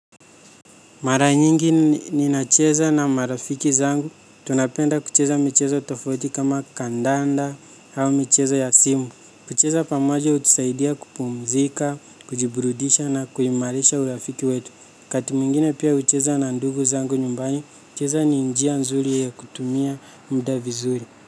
Mara nyingi ninacheza na marafiki zangu, tunapenda kucheza michezo tofauti kama kandanda au michezo ya simu. Kucheza pamoja hutusaidia kupumzika, kujiburudisha na kuimarisha urafiki wetu. Wakati mwingine pia hucheza na ndugu zangu nyumbani. Kucheza ni njia nzuri ya kutumia muda vizuri.